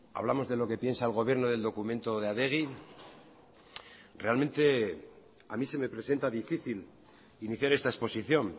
hablamos de lo que piensa el gobierno del documento de adegi realmente a mí se me presenta difícil iniciar esta exposición